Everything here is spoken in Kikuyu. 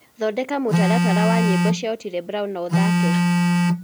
thondeka mũtaratara wa nyĩmbo cĩa otile brown na ũthake